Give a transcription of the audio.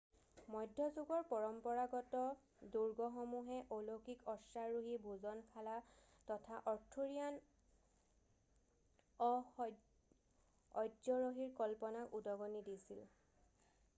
মধ্যযুগৰ পৰম্পৰাগত দুৰ্গসমূহে অলৌকিক অশ্বাৰোহী ভোজনশালা তথা অৰ্থুৰিয়ান অস্যৰহীৰ কল্পনাক উদগনি দিছিল